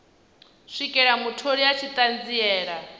swikela mutholi a tshi ṱanziela